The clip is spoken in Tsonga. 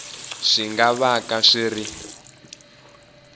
swi nga vaka swi ri